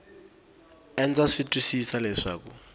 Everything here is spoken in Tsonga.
e ndza swi twisisa leswaku